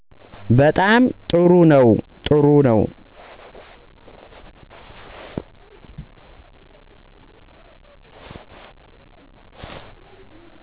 በጣም ጥሩ ነው ጥሩ ነው